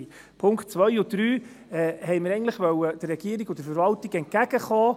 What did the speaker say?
Mit den Punkten 2 und 3 wollten wir der Regierung und der Verwaltung eigentlich entgegenkommen.